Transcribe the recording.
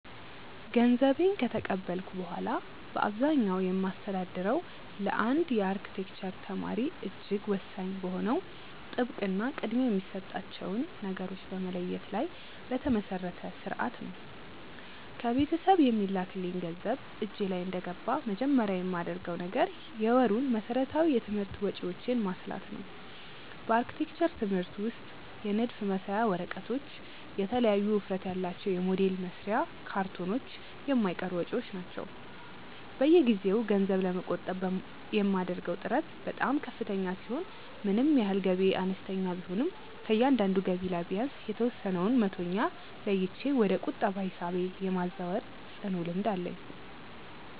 ገንዘቤን ከተቀበልኩ በኋላ በአብዛኛው የማስተዳድረው ለአንድ የአርክቴክቸር ተማሪ እጅግ ወሳኝ በሆነው ጥብቅ እና ቅድሚያ የሚሰጣቸውን ነገሮች በመለየት ላይ በተመሰረተ ሥርዓት ነው። ከቤተሰብ የሚላክልኝ ገንዘብ እጄ ላይ እንደገባ መጀመሪያ የማደርገው ነገር የወሩን መሠረታዊ የትምህርት ወጪዎቼን ማስላት ነው። በአርክቴክቸር ትምህርት ውስጥ የንድፍ መሳያ ወረቀቶች፣ የተለያዩ ውፍረት ያላቸው የሞዴል መስሪያ ካርቶኖች የማይቀሩ ወጪዎች ናቸው። በየጊዜው ገንዘብ ለመቆጠብ የማደርገው ጥረት በጣም ከፍተኛ ሲሆን ምንም ያህል ገቢዬ አነስተኛ ቢሆንም ከእያንዳንዱ ገቢ ላይ ቢያንስ የተወሰነውን መቶኛ ለይቼ ወደ ቁጠባ ሂሳቤ የማዛወር ጽኑ ልምድ አለኝ።